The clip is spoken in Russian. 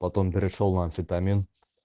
потом перешёл на амфетамин